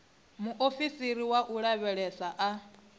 muofisiri wa u lavhelesa a